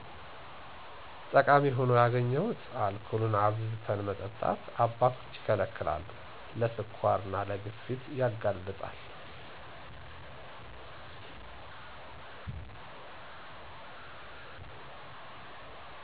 ጠቃሚ ሁኖ ያገኘሁት አልኮልን አብዝተን መጠጣት አባቶች ይከለከላሉ ለ ስኳር እና ለግፊት ያጋልጣል